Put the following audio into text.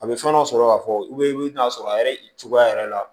A bɛ fɛn dɔ sɔrɔ ka fɔ i bɛ n'a sɔrɔ a yɛrɛ i cogoya yɛrɛ la